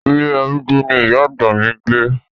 Ilé arúgbó ni ìyá àgbà mi ń gbé.